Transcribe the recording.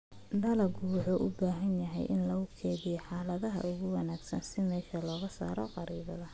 Dalaggu wuxuu u baahan yahay in lagu kaydiyo xaaladaha ugu wanaagsan si meesha looga saaro kharribaadda.